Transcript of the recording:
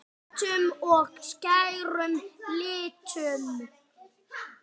Höttum og skærum litum.